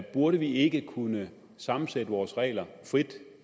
burde vi ikke kunne samensætte vores regler frit